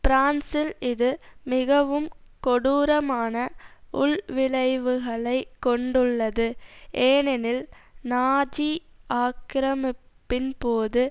பிரான்சில் இது மிகவும் கொடூரமான உள் விளைவுகளை கொண்டுள்ளது ஏனெனில் நாஜி ஆக்கிரமிப்பின்போது